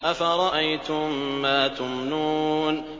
أَفَرَأَيْتُم مَّا تُمْنُونَ